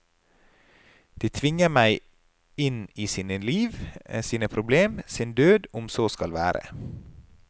De tvinger meg inn i sine liv, sine problemer, sin død om så skal være.